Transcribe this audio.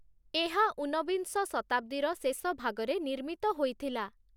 ଏହା ଊନବିଂଶ ଶତାବ୍ଦୀର ଶେଷଭାଗରେ ନିର୍ମିତ ହୋଇଥିଲା ।